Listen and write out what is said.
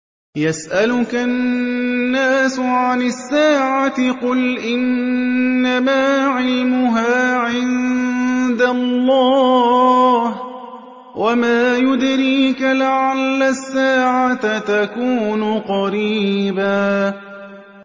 يَسْأَلُكَ النَّاسُ عَنِ السَّاعَةِ ۖ قُلْ إِنَّمَا عِلْمُهَا عِندَ اللَّهِ ۚ وَمَا يُدْرِيكَ لَعَلَّ السَّاعَةَ تَكُونُ قَرِيبًا